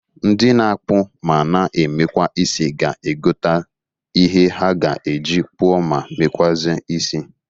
Ndi na-akpụ ma na emekwa isi ga egota ihe ha ga-eji kpụọ ma mekwụazị isi.